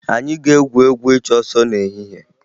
Anyị ga-egwu egwu ịchụ ọsọ n'ehihie